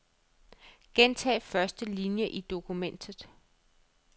Gentag første linie i dokumentet.